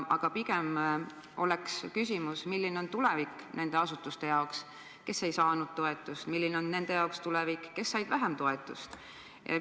Aga küsimus oleks pigem selline: milline on nende asutuste tulevik, kes ei saanud toetust, ja milline on nende tulevik, kes said vähem toetust?